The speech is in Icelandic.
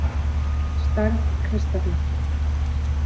Stærð kristalla